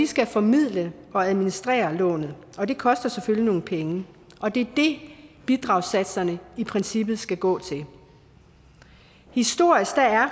skal formidle og administrere lånet og det koster selvfølgelig nogle penge og det er det bidragssatserne i princippet skal gå til historisk er